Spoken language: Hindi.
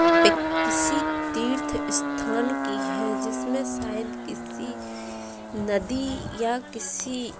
पिक किसी तीर्थ स्थान की है जिसमें शायद किसी नदी या किसी --